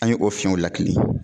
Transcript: An ye o fiɲɛw lakali.